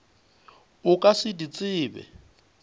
o ka se di tsebe